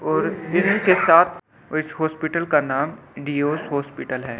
और के साथ इस हॉस्पिटल का नाम डीओस हॉस्पिटल है ।